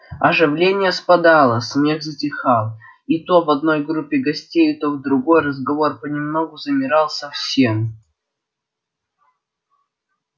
оживление спадало смех затихал и то в одной группе гостей то в другой разговор понемногу замирал совсем